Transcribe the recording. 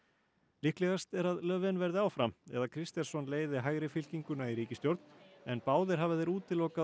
líklegast er að verði áfram eða Kristersson leiði hægri fylkinguna í ríkisstjórn en báðir hafa þeir útilokað